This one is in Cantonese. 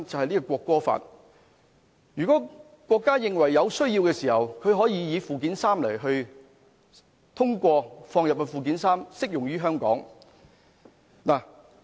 如果國家認為有需要的時候，可以通過附件三，加入條文而適用於香港。